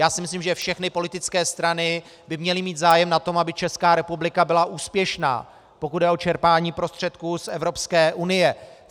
Já si myslím, že všechny politické strany by měly mít zájem na tom, aby Česká republika byla úspěšná, pokud jde o čerpání prostředků z Evropské unie.